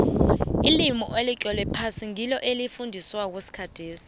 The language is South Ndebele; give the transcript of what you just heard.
ilimi elitlolwe phasi ngilo elifundiswako kangeni